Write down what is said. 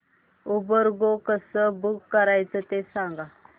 Uber go कसं book करायचं ते सांग